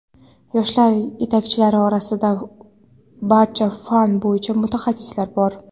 yoshlar yetakchilari orasida barcha fan bo‘yicha mutaxassislar bor.